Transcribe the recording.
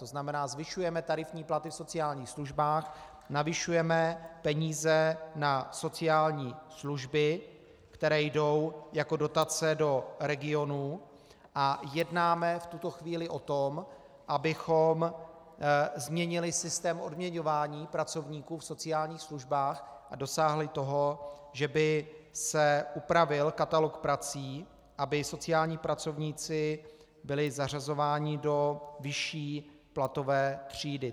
To znamená, zvyšujeme tarifní platy v sociálních službách, navyšujeme peníze na sociální služby, které jdou jako dotace do regionů, a jednáme v tuto chvíli o tom, abychom změnili systém odměňování pracovníků v sociálních službách a dosáhli toho, že by se upravil katalog prací, aby sociální pracovníci byli zařazováni do vyšší platové třídy.